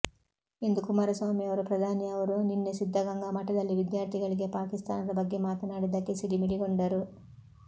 ಎಂದು ಕುಮಾರಸ್ವಾಮಿ ಅವರು ಪ್ರಧಾನಿ ಅವರು ನಿನ್ನೆ ಸಿದ್ದಗಂಗಾ ಮಠದಲ್ಲಿ ವಿದ್ಯಾರ್ಥಿಗಳಿಗೆ ಪಾಕಿಸ್ತಾನದ ಬಗ್ಗೆ ಮಾತನಾಡಿದ್ದಕ್ಕೆ ಸಿಡಿಮಿಡಿಗೊಂಡರು